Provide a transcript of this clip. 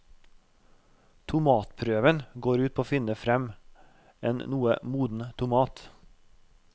Tomatprøven går ut på å finne frem en noe moden tomat.